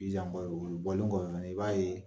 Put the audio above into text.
o bɔlen kɔfɛ fɛnɛ i b'a ye.